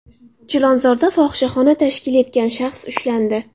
Chilonzorda fohishaxona tashkil etgan shaxs ushlandi.